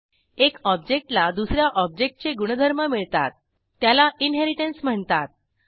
एक ऑब्जेक्टला दुस या ऑब्जेक्टचे गुणधर्म मिळतात त्याला इनहेरिटन्स म्हणतात